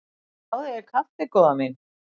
Fáðu þér kaffi góða mín.